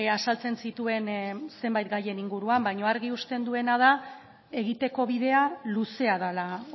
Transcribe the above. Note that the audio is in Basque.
azaltzen zituen zenbait gaien inguruan baina argi uzten duena da egiteko bidea luzea dela